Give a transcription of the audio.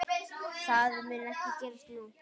Það mun ekki gerast nú.